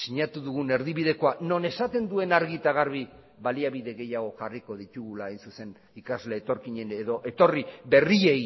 sinatu dugun erdibidekoa non esaten duen argi eta garbi baliabide gehiago jarriko ditugula hain zuzen ikasle etorkinen edo etorri berriei